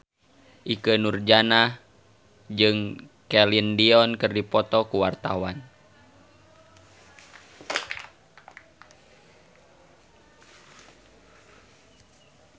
Ikke Nurjanah jeung Celine Dion keur dipoto ku wartawan